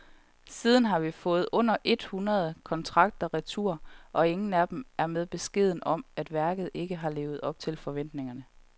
Siden har vi fået under et hundrede kontrakter retur, og ingen af dem er med beskeden om, at værket ikke har levet op til forventningerne.